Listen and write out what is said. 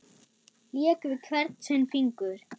Lék við hvern sinn fingur.